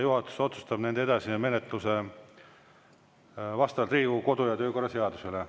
Juhatus otsustab nende edasise menetluse vastavalt Riigikogu kodu‑ ja töökorra seadusele.